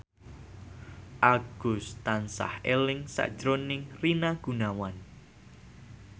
Agus tansah eling sakjroning Rina Gunawan